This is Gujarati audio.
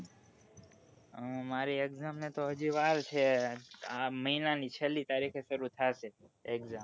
મારી exam ને તો હજુ વાર છે આ મહિના ની છેલ્લી તારીખે શરૂ થાશે.